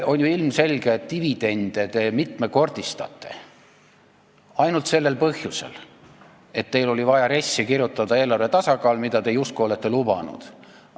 On ju ilmselge, et dividende te mitmekordistate ainult sellel põhjusel, et teil oli vaja RES-i kirjutada eelarve tasakaal, mida te justkui olete lubanud.